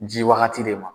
Ji wagati de ma